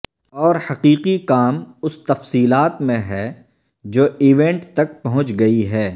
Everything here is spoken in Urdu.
اور حقیقی کام اس تفصیلات میں ہے جو ایونٹ تک پہنچ گئی ہے